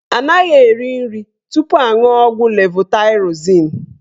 Anaghị eri nri tupu aṅuọ ọgwụ levotaịrozin.